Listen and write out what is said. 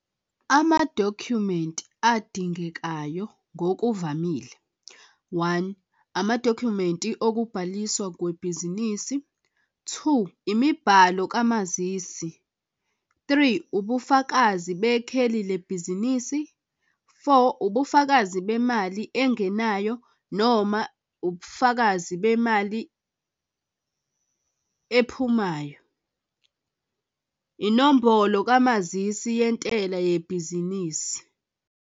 Amadokhumenti adingekayo ngokuvamile, one, amadokhumenti okubhaliswa kwebhizinisi. Two, imibhalo kamazisi. Three, ubufakazi bekheli lebhizinisi. Four, ubufakazi bemali engenayo noma ubufakazi bemali ephumayo, inombolo kamazisi yentela yebhizinisi.